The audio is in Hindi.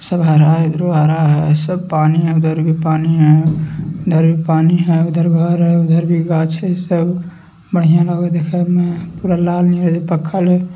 सब हरा है इधरो हरा है सब पानी है उधर भी पानी है उधर भी पानी है उधर घर है उधर भी गाछ सब बढ़िया लागे देखे में पूरा लाल नियर